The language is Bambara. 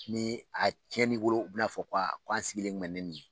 Ni a cɛnni bolo u b'a bina fɔ ko k'an sigilen kun bɛ ni nin ye